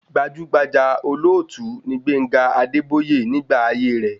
Gbajúgbajà olóòtú ni Gbénga Adébóyè nígbà ayé rẹ̀